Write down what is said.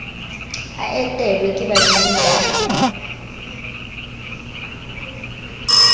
a etelwe ke badimo ba